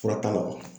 Fura t'a la wa